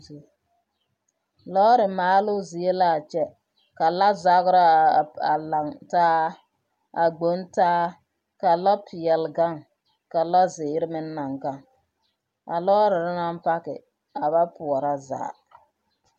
Lɔɔre maaloo zie la a kyɛ ka lɔre zagra a p… a lantaa a gbontaa ka lɔpeɛle gaŋ ka lɔzeere meŋ naŋ gaŋ. A lɔɔrere naŋ pake a ba poɔra zaa.